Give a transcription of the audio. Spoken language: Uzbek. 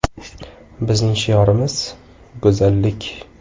Bizning shiorimiz: “Go‘zallik.